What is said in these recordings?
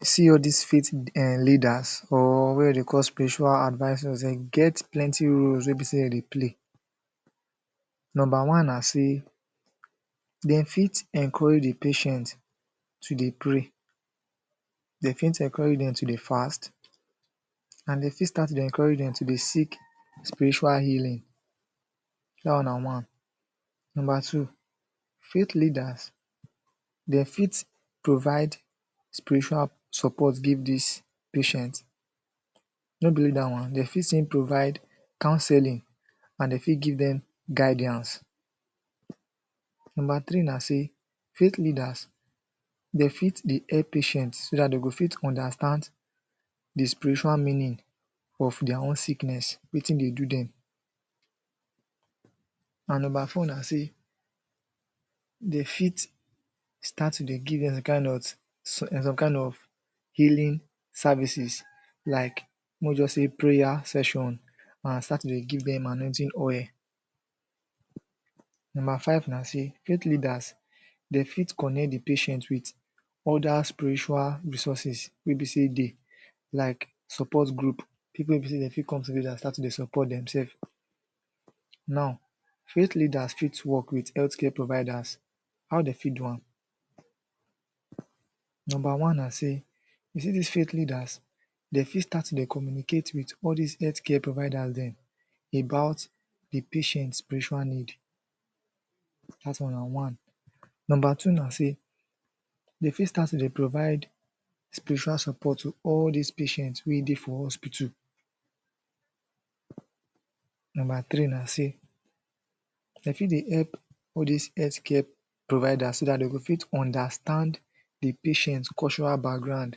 You see all dis faith um leaders or wey de dey call spiritual advisers, de get plenty roles wey be sey de dey play number one na sey de fit encourage the patient to dey pray de fit encourage dem to dey fast and de fit start to dey encourage dem to de seek spiritual healing da one na one number two faith leaders de fit provide spiritual support give dis patient no be oly da one de fit still provide counselling and de fit give dem guidiance number three na sey faith leaders de fit dey help patient so dat de go fit understand the spiritual meaning of their own sickness, wetin de do dem and number four na sey de fit start to de give dem de kind ot some kind of healing services like mo just sey prayer session and start to de give dem annointing oil number five na sey, youth leaders dey fit connect the patient with other spiritual resources wey be sey de like support group people wey be sey de fit come together and start to dey support demself now youth leaders fit work with healthcare providers how de fit do wam number one na sey you see dis faith leaders de fit start to dey communicate with all dis healthcare providers dem about de patient spiritual need dat one na one number two na sey de fit start to de provide spiritual support to all dis patient wey dey for hospital number three na sey de fit dey help all dis healthcare providers so that de go fit understand the patient cultural background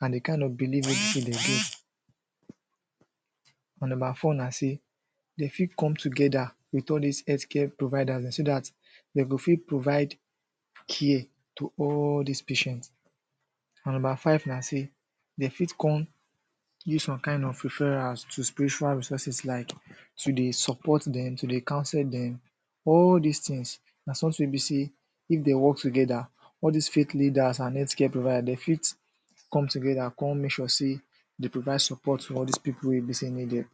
and the kind of believe wey be say dey get and number four na sey de fit come together wit all dis healthcare providers dem so dat de go fit provide care to all dis patient and number five na sey de fit come use some kind of referrals to spiritual resources like to de support dem, to de counsel dem all dis things na something wey be sey if dey work together all dis fake leaders and healthcare providers de fit come together come make sure sey de provide support for all dis people wey be sey need dem